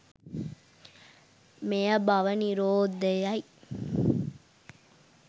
මෙය භව නිරෝධයයි.